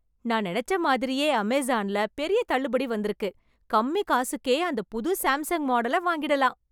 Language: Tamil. நான் நெனச்ச மாதிரியே அமேசான்ல பெரிய தள்ளுபடி வந்திருக்கு. கம்மி காசுக்கே அந்தப் புது சேம்சங் மாடல வாங்கிடலாம்.